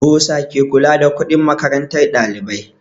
Bursa ke kula da kuɗin makarantar ɗalibai